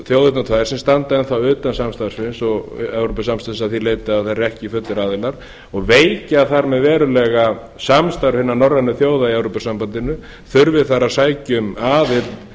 þjóðirnar tvær sem standa enn utan evrópusamstarfsins að því leyti að þær eru ekki fullir aðilar og veikja þar með verulega samstarf norrænu þjóða í evrópusambandinu þurfi þær að sækja um aðild